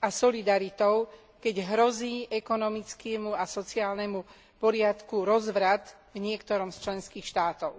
a solidaritou, keď hrozí ekonomickému a sociálnemu poriadku rozvrat v niektorom z členských štátov.